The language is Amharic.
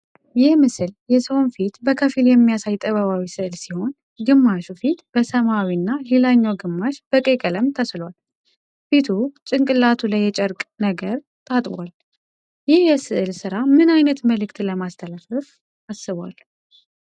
ይህ ምስል የሰውን ፊት በከፊል የሚያሳይ ጥበባዊ ስዕል ሲሆን፣ ግማሹ ፊት በሰማያዊና ሌላኛው ግማሽ በቀይ ቀለም ተስሏል። ፊቱ ጭንቅላቱ ላይ የጨርቅ ነገር ታጥቧል፤ ይህ የስዕል ስራ ምን አይነት መልዕክት ለማስተላለፍ አስቧል?